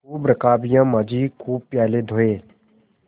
खूब रकाबियाँ माँजी खूब प्याले धोये